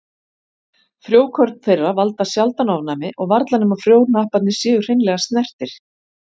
Frjókorn þeirra valda sjaldan ofnæmi og varla nema frjóhnapparnir séu hreinlega snertir.